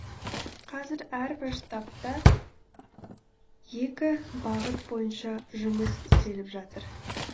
қазір әрбір штабта екі бағыт бойынша жұмыс істеліп жатыр